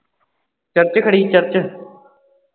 church ਖੜ੍ਹੀ ਸੀ church